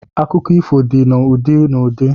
Akụkọ ifo dị na ụdị na ụdị